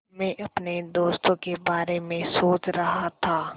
मैं अपने दोस्तों के बारे में सोच रहा था